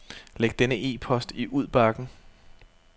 Læg denne e-post i udbakken.